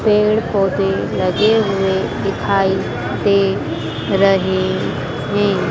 पेड़ पौधे लगे हुए दिखाई दे रहे हैं।